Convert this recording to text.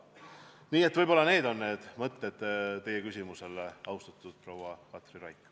Need on mõtted, mida tekitas teie küsimus, austatud proua Katri Raik.